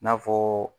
N'a fɔ